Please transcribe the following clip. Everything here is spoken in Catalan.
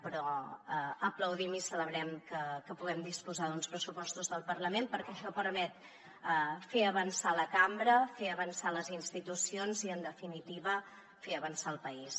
però aplaudim i celebrem que puguem disposar d’uns pressupostos del parlament perquè això permet fer avançar la cambra fer avançar les institucions i en definitiva fer avançar el país